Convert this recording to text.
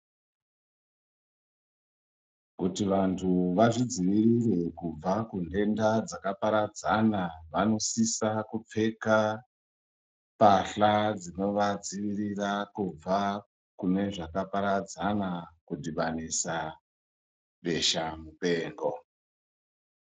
Kuti vantu vazvidzivirire kubva kuntenda dzakaparadzana vanosisa kupfeka mbahla dzinovadziirira kubva kune zvakaparadzana kudhibanisa besha mupengo.